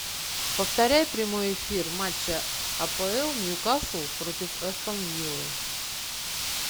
повторяй прямой эфир матча апл ньюкасл против астон виллы